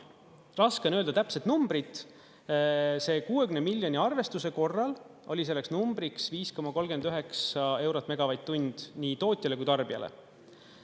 Raske on öelda täpset numbrit, selle 60 miljoni arvestuse korral oli selleks numbriks 5,39 eurot megavatt-tund nii tootjale kui ka tarbijale.